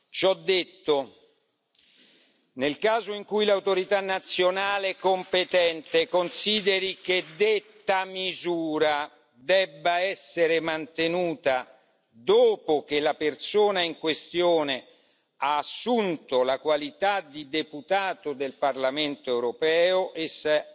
Ciò detto, nel caso in cui l'autorità nazionale competente consideri che detta misura debba essere mantenuta dopo che la persona in questione ha assunto la qualità di deputato del Parlamento europeo, essa